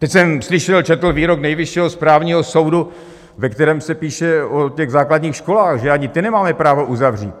Teď jsem slyšel, četl, výrok Nejvyššího správního soudu, ve kterém se píše o těch základních školách, že ani ty nemáme právo uzavřít.